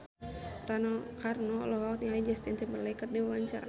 Rano Karno olohok ningali Justin Timberlake keur diwawancara